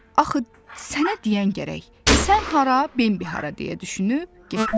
Axı sənə deyəngərək, sən hara, Bambi hara deyə düşünüb getdi.